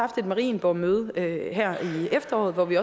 et marienborgmøde her i efteråret hvor vi